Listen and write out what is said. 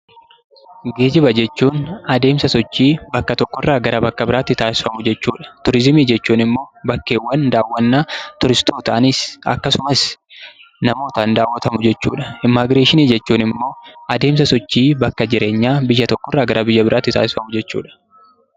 Geejiba jechuun adeemsa sochii bakka tokko irraa gara biratti taasifamu jechuu dha. Tuuriziimii jechuun immoo bakkeewwan dawwannaa tuuristootaanis akkasumas namootaan dawwatamu jechuu dha. Immigireshinii jechuun immoo adeemsa sochii jireenyaa biyya tokko irraa gara biyya biraatti taasifamu jechuu dha.